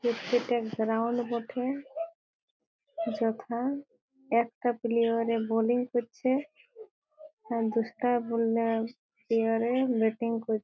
এটা গ্রাউন্ড বঠে ।যথা একটা প্লেয়র -এ বলিং করছে। আর দুটা বল অ্যা প্লেয়ার ব্যাটিং করছে।